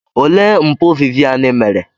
Olee mpụ Vivian mere?